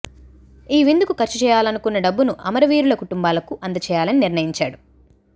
ఈ విందుకు ఖర్చు చేయాలనుకున్న డబ్బును అమరవీరుల కుటుంబాలకు అందచేయాలని నిర్ణయించాడు